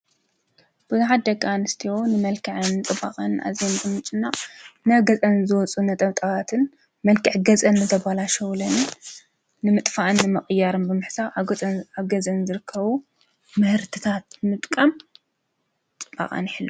ብዙሓት ደቂ ኣንስትዮ ንመልክዐን ፅባቀአንን ኣዝየን ብምጭናቅ ናብ ገፀን ዝወፁ ነጠብጣብን መልክዕ ገፀን ዘበላሸዉለንን ንምጥፋእን ንምቅያርን ብምሕሳብ አብ ገዘን ዝርከቡ ምህርትታት ምጥቃም ፅባቀአን ይሕልዋ ።